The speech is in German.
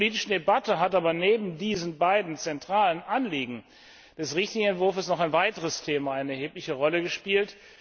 In der politischen Debatte hat aber neben diesen beiden zentralen Anliegen des richtigen Entwurfes noch ein weiteres Thema eine erhebliche Rolle gespielt.